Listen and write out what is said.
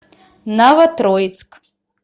новотроицк